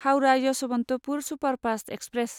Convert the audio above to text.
Howrah Yesvantpur superfast express